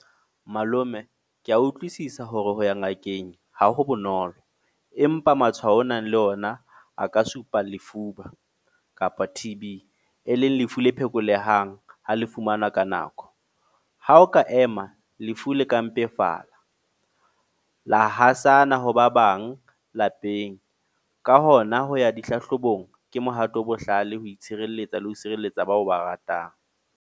Malome, ke a utlwisisa hore ho ya ngakeng ha ho bonolo. Empa matshwao ao o nang le ona a ka supa lefuba, kapa T_B. E leng lefu le phekolehang, ha le fumanwa ka nako. Ha o ka ema, lefu le ka mpefala. La hasana ha ba bang lapeng. Ka hona ho ya dihlahlobong ke mohato o bohlale ho itshirelletsa le ho sireletsa bao o ba ratang.